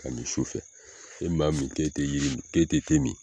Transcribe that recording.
K'a min sufɛ ni maa min k'e tɛ te min